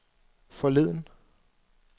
forleden